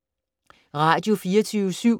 Radio24syv